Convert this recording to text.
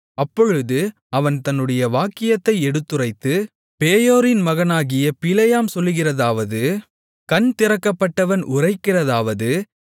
அப்பொழுது அவன் தன்னுடைய வாக்கியத்தை எடுத்துரைத்து பேயோரின் மகனாகிய பிலேயாம் சொல்லுகிறதாவது கண் திறக்கப்பட்டவன் உரைக்கிறதாவது